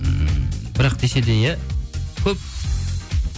ммм бірақ десе де иә көп